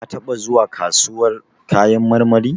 Ka taɓa zuwa kasuwar kayan marmari?